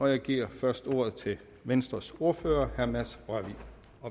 jeg giver først ordet til venstres ordfører herre mads rørvig